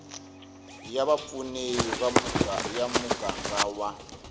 ya vapfuni ya muganga wa